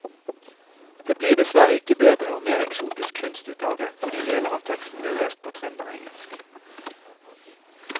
Det blir dessverre ikke bedre og mer eksotisk kunst ut av det fordi deler av teksten blir lest på trønderengelsk.